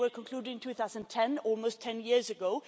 They were concluded in 2010, almost 10 years ago.